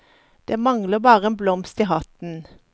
Det manglet bare en blomst i hatten.